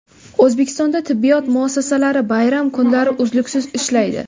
O‘zbekistonda tibbiyot muassasalari bayram kunlari uzluksiz ishlaydi.